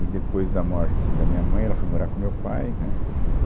E depois da morte da minha mãe, ela foi morar com o meu pai, né, éh